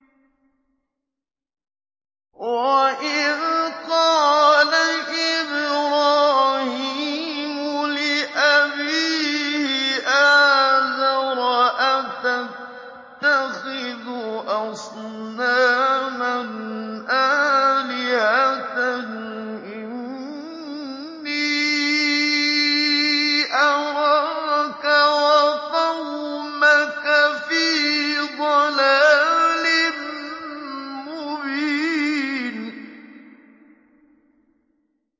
۞ وَإِذْ قَالَ إِبْرَاهِيمُ لِأَبِيهِ آزَرَ أَتَتَّخِذُ أَصْنَامًا آلِهَةً ۖ إِنِّي أَرَاكَ وَقَوْمَكَ فِي ضَلَالٍ مُّبِينٍ